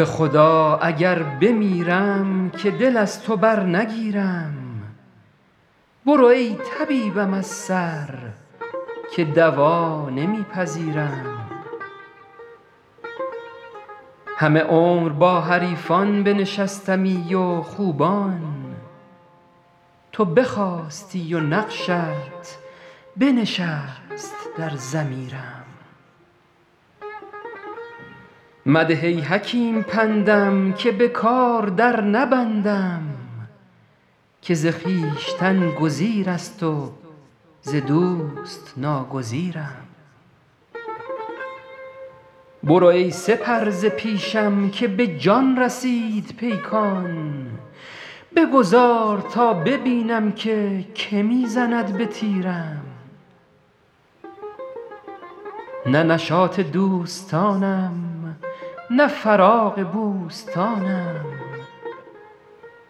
به خدا اگر بمیرم که دل از تو برنگیرم برو ای طبیبم از سر که دوا نمی پذیرم همه عمر با حریفان بنشستمی و خوبان تو بخاستی و نقشت بنشست در ضمیرم مده ای حکیم پندم که به کار در نبندم که ز خویشتن گزیر است و ز دوست ناگزیرم برو ای سپر ز پیشم که به جان رسید پیکان بگذار تا ببینم که که می زند به تیرم نه نشاط دوستانم نه فراغ بوستانم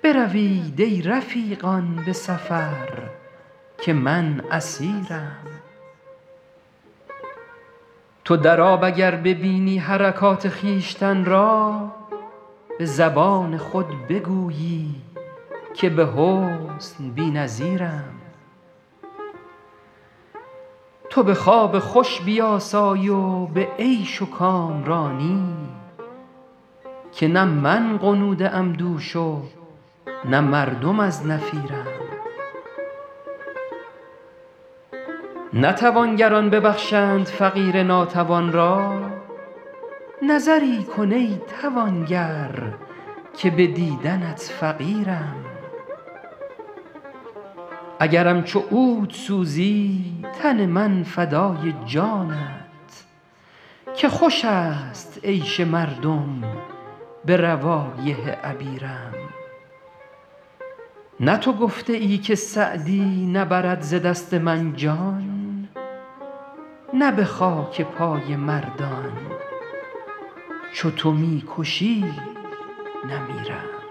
بروید ای رفیقان به سفر که من اسیرم تو در آب اگر ببینی حرکات خویشتن را به زبان خود بگویی که به حسن بی نظیرم تو به خواب خوش بیاسای و به عیش و کامرانی که نه من غنوده ام دوش و نه مردم از نفیرم نه توانگران ببخشند فقیر ناتوان را نظری کن ای توانگر که به دیدنت فقیرم اگرم چو عود سوزی تن من فدای جانت که خوش است عیش مردم به روایح عبیرم نه تو گفته ای که سعدی نبرد ز دست من جان نه به خاک پای مردان چو تو می کشی نمیرم